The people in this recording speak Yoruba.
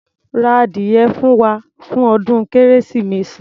Ra ádìyẹ fún wa, fún ọdún kérésìmesì.